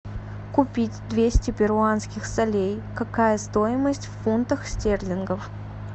купить двести перуанских солей какая стоимость в фунтах стерлингов